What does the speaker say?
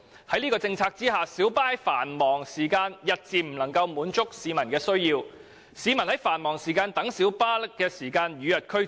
在這樣的政策下，小巴日漸不能滿足市民在繁忙時間的需要，而市民於繁忙時間等候小巴的時間亦與日俱增。